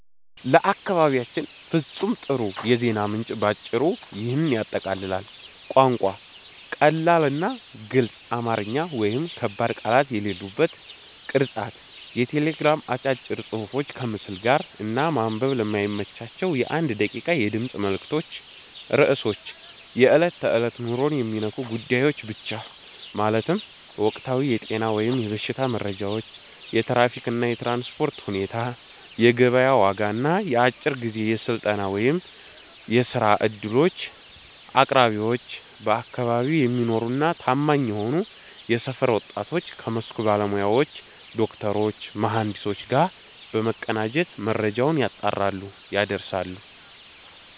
ለአካባቢያችን ፍጹም ጥሩ የዜና ምንጭ ባጭሩ ይህንን ያጠቃልላል፦ ቋንቋ፦ ቀላልና ግልጽ አማርኛ (ከባድ ቃላት የሌሉበት)። ቅርጸት፦ የቴሌግራም አጫጭር ጽሑፎች ከምስል ጋር፣ እና ማንበብ ለማይመቻቸው የ1 ደቂቃ የድምፅ መልዕክቶች ርዕሶች፦ የዕለት ተዕለት ኑሮን የሚነኩ ጉዳዮች ብቻ፤ ማለትም ወቅታዊ የጤና/የበሽታ መረጃዎች፣ የትራፊክ እና የትራንስፖርት ሁኔታ፣ የገበያ ዋጋ እና የአጭር ጊዜ የሥራ/የስልጠና ዕድሎች። አቅራቢዎች፦ በአካባቢው የሚኖሩና ታማኝ የሆኑ የሰፈር ወጣቶች ከመስኩ ባለሙያዎች (ዶክተሮች፣ መሐንዲሶች) ጋር በመቀናጀት መረጃውን ያጣራሉ፣ ያደርሳሉ።